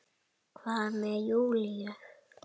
Hvað með Júlíu?